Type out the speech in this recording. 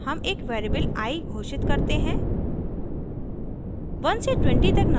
each loop में हम एक वेरिएबल i घोषित करते हैं